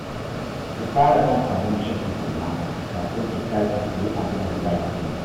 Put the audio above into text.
Ki fara cin abincin tukunna, kafin ki tashi ki yi abin da za ki yi